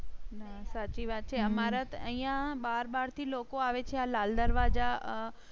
હમ સાચી વાત છે. અમારે તો અહિયાં બાર બાર થી લોકો આવે છે. આ લાલ દરવાજા